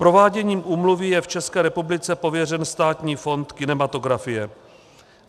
Prováděním úmluvy je v České republice pověřen Státní fond kinematografie.